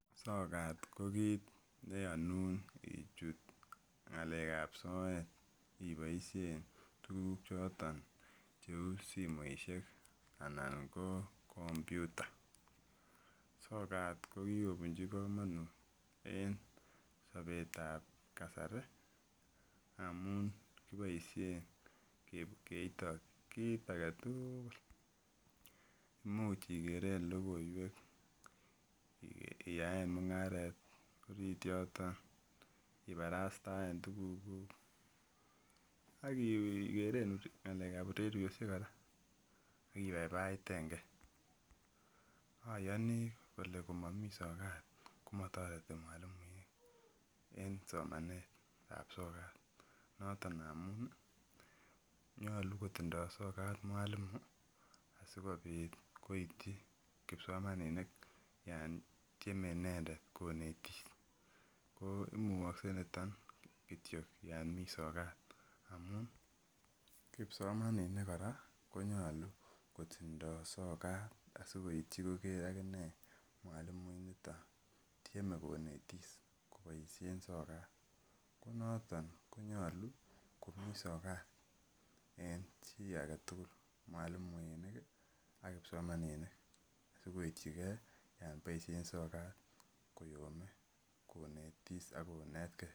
sokat ko kiit neyonun ichut ng'alekab soet iboisien tuguk choton cheu simoisiek anan ko komputa, sokat ko kikobunji komonut en sobet ab kasari amun kiboisien keito kiit agetugul, imuch igeren logoiwek, iyaen mung'aret orit yoton, ibarastaen tugukuk ak igeren ng'alek ab ureryosiek kora ak ibaibaiten gee, oyoni kole ngomani sokat komatoreti mwalimuek en somanet ab sokat noton amun nyolu kotindo sokat mwalimu asikobit koityi kipsomaninik en tyeme inendet konetis, ko imugoksek niton kityok yomi sokat amun kipsomaninik kora ko nyolu kotindo sokat asikoityi agine mwalimu initon tyeme konetis kobaisien sokat, ko noton ko nyolu komi sokat en chi agetugul, mwalimuinik ak kipsomaninik sikoityigee yon boisien sokat koyome konetis ak konetgee.